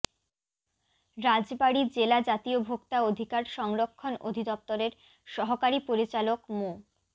রাজবাড়ি জেলা জাতীয় ভোক্তা অধিকার সংরক্ষণ অধিদপ্তরের সহকারী পরিচালক মো